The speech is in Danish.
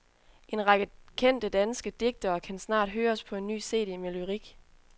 En række kendte danske digtere kan snart høres på en ny cd med lyrik.